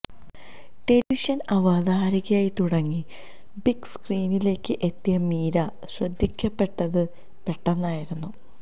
ടെലിവിഷന് അവതാരകയായി തുടങ്ങി ബിഗ് സ്ക്രീനിലേക്ക് എത്തിയ മീര ശ്രദ്ധിക്കപ്പെട്ടത് പെട്ടെന്നായിരുന്നു